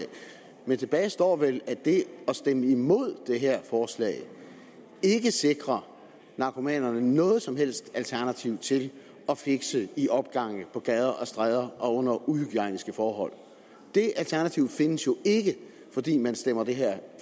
men tilbage står vel at det at stemme imod det her forslag ikke sikrer narkomanerne noget som helst alternativ til at fixe i opgange på gader og stræder og under uhygiejniske forhold det alternativ findes jo ikke fordi man stemmer det her